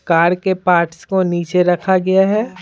Car के parts को नीचे रखा गया है।